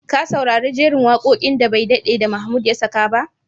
Ka saurari jerin waƙoƙin da bai daɗe da Mahmud ya saka ba?